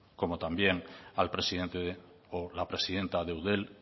como también al presidente o la presidenta de eudel